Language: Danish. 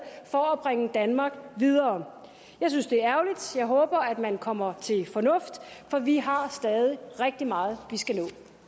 for at bringe danmark videre jeg synes det er ærgerligt og jeg håber at man kommer til fornuft for vi har stadig rigtig meget vi skal